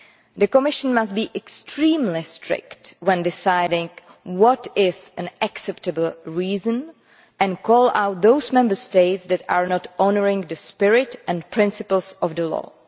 The Commission must be extremely strict when deciding what is an acceptable reason and call out those Member States that are not honouring the spirit and principles of the law.